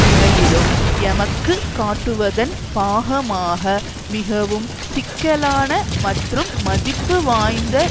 முறையிலும் எமக்கு காட்டுவதன் பாகமாக மிகவும் சிக்கலான மற்றும் மதிப்புவாய்ந்த